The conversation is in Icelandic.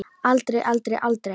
Aldrei, aldrei, aldrei!